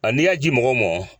A ni ya ji mɔgɔw mɔ.